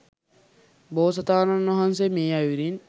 බෝසතාණන් වහන්සේ මේ අයුරින්